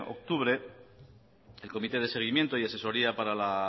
octubre el comité de seguimiento y asesoría para la